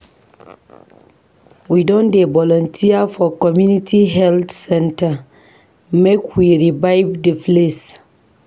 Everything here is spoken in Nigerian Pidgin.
I don dey volunteer for community health center make we revive di place.